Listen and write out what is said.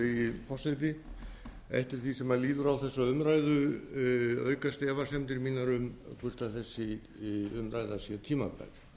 virðulegi forseti eftir því sem líður á þessa umræðu aukast efasemdir mínar um hvort þessi umræða sér tímabær